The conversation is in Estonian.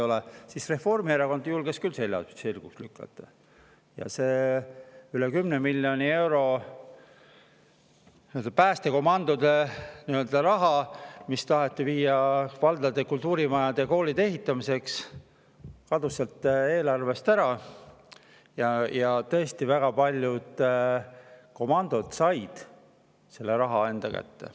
Aga siis Reformierakond julges küll selja sirgu lükata ja see üle 10 miljoni euro päästekomandode raha, mis taheti viia valdade kultuurimajade ja koolide ehitamiseks, kadus sealt ära ja tõesti väga paljud komandod said selle raha enda kätte.